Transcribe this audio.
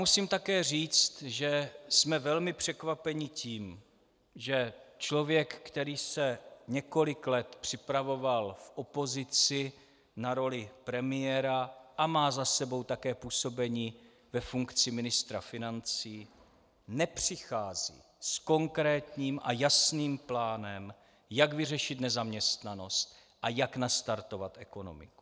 Musím také říct, že jsme velmi překvapeni tím, že člověk, který se několik let připravoval v opozici na roli premiéra a má za sebou také působení ve funkci ministra financí, nepřichází s konkrétním a jasným plánem, jak vyřešit nezaměstnanost a jak nastartovat ekonomiku.